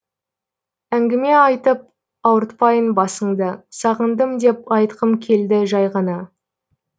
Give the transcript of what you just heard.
әңгіме айтып ауыртпайын басыңды сағындым деп айтқым келді жай ғана